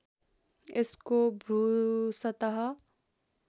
यसको भूसतह